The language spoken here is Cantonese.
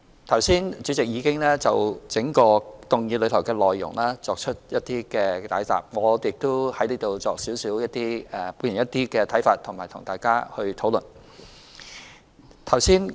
剛才主席已經就整項議案的內容作出解答，我亦在此表達一些看法，以及與大家討論。